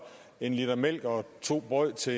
en liter mælk og to brød til